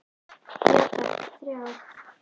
Já takk, þrjá.